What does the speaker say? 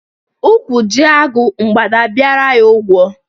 Ụkwụ jie agụ, mgbada abịara ya ụgwọ.